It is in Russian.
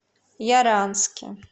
яранске